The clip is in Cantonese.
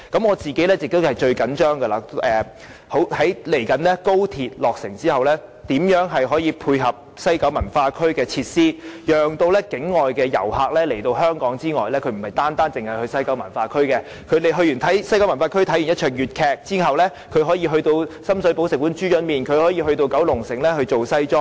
我個人最着緊的是，廣深港高鐵未來落成後，當局會如何配合西九文化區的設施，讓境外遊客來到香港時，不單遊覽西九文化區，而是在西九文化區觀看粵劇後，會到深水埗吃"豬潤麵"，或再到九龍城訂製西裝。